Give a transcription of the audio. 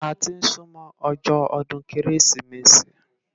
Áti n súmò òjò òdún Kérésimési